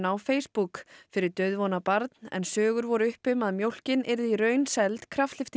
á Facebook fyrir dauðvona barn en sögur voru uppi um að mjólkin yrði í raun seld